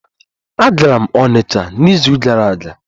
Agara m onitcha n'izu gara aga.